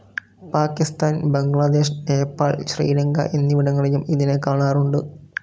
പാകിസ്ഥാൻ, ബംഗ്ലാദേശ്, നേപ്പാൾ ശ്രീലങ്ക എന്നിവിടങ്ങളിലും ഇതിനെ കാണാറുണ്ട്.